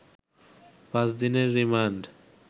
পাঁচ দিনের রিমান্ড